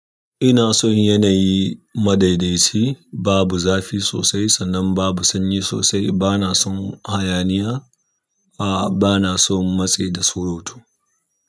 Ina son yanayi madaidaci, babu zafi sosai sannan babu sanyi sosai. Bana son hayaniya, a bana son matse da surutu.